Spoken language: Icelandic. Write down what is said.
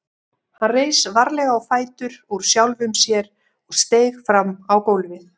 Hann reis varlega á fætur úr sjálfum sér og steig fram á gólfið.